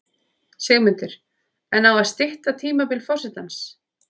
Sigmundur: En á að stytta tímabil forsetans?